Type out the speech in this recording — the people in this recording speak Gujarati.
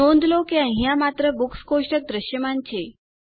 નોંધ લો કે અહીંયા માત્ર બુક્સ કોષ્ટક દ્રશ્યમાન છે